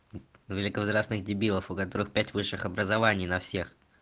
великовозрастный дебилов у которых пять высших образований на всех